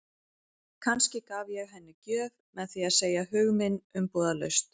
Kannski gaf ég henni gjöf með því að segja hug minn umbúðalaust.